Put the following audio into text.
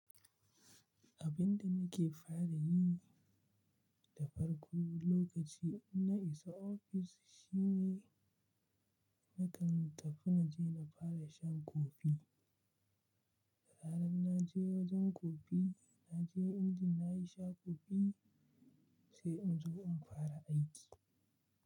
Abinda nake fara yi da farko lokaci inna isa ofis shine na kan tafi na je na fara shan kofi. Da zaran na je wajen kofi, na je inji na yi sha kofi sai in zo in fara aiki.